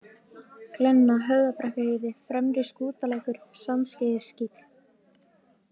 Glenna, Höfðabrekkuheiði, Fremri-Skútalækur, Sandskeiðiskíll